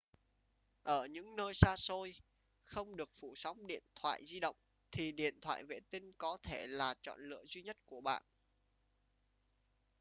ở những nơi xa xôi không được phủ sóng điện thoại di động thì điện thoại vệ tinh có thể là chọn lựa duy nhất của bạn